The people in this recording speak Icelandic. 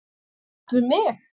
er sagt við mig?